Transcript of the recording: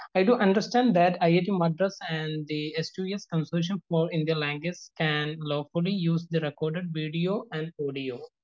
E do understand that IIT Madras and the S2S consortium for Indian languages and use record video and audio.